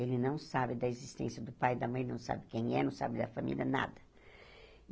Ele não sabe da existência do pai e da mãe, não sabe quem é, não sabe da família, nada.